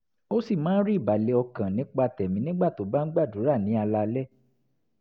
ó sì máa ń rí ìbàlẹ̀ ọkàn nípa tẹ̀mí nígbà tó bá ń gbàdúrà ní alaalẹ́